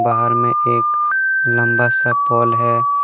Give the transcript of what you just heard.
बाहर में एक लंबा सा पोल है।